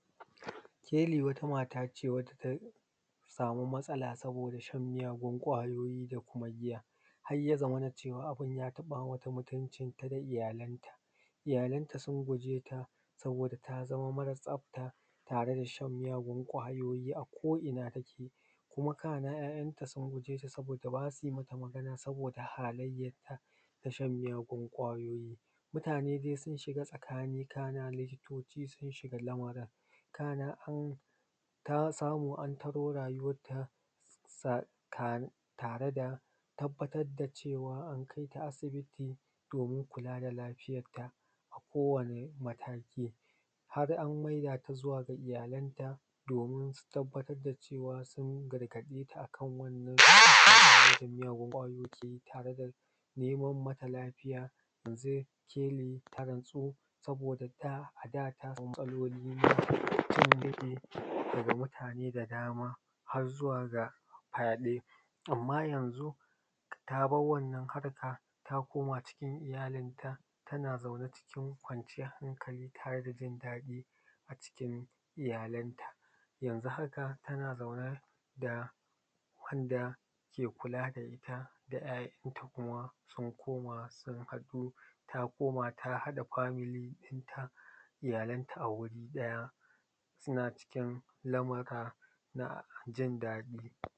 Keli wata mata ce wata ta samu matsala saboda shan miyagun kwayoyi da kuma giya, har ya zamana cewa abun ya taɓa mata mutuncinta da iyalanta. Iyanta sun gujeta saboda ta zama mara tsafta tare da shan miyagun kwayoyi a ko’ina take kuma kana ‘ya’yanta sun gujeta saboda basu mata magana saboda hallayatan na shan miyagun kwayoyi mutane dai sun shiga tsakani sannan likitoci sun shiga lamarin. Kana an ta samu an taro rayuwarta tare da tabbatar da cewa an kaita asibiti domin kula da lafiyarta a kowane mataki har an maida ta zuwa ga iyalanta domin su tabbatar da cewa sun gargaɗeta kan wannan miyagun kwayoyi keyi tare da Neman mata lafiya yanzu keli ta natsu saboda da a da ta samu matsaloli na jan gefe daga mutane da dama har zuwa ga fyaɗe amma yanzu ta bar wannan harka ta koma cikin iyalinta tana zaune cikin kwanciyar hankali tare da jin daɗi a cikin iyalanta. Yanzu haka tana zaune da wanda ke kula da ita da ‘ya’yanta kuma sun koma sun haɗu ta koma ta haɗa famili ɗinta iyalanta a wuri ɗaya suna cikin lamura na jin daɗi.